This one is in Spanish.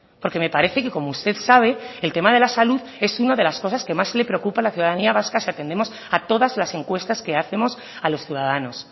porque me parece que como usted sabe el tema de la salud es una de las cosas que más le preocupa a la ciudadanía vasca si atendemos a todas las encuestas que hacemos a los ciudadanos